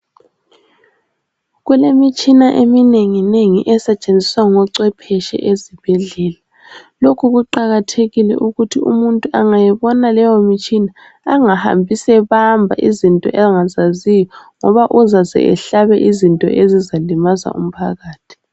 Kulemitshina eminengi nengi esetshenziswa ngochwepheshe ezibhedlela. Lokhu kuqakathekile ukuthi umuntu angayibona leyo mitshina angahambi sebamba izinto angazaziyo ngoba uzaze ehlabe izinto ezizalimaza umphakathi.